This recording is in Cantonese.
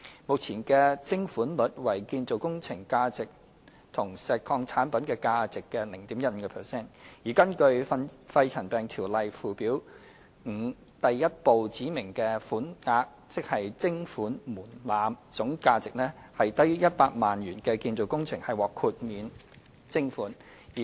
目前的徵款率為建造工程和石礦產品價值的 0.15%， 而根據《條例》附表5第1部指明的款額，總價值低於100萬元的建造工程獲豁免徵款。